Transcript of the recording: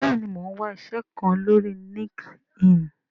bẹẹni, Mọ n wá iṣé kán lórí Linkedin